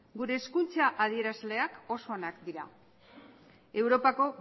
gure hezkuntza adierazleak oso onak dira europako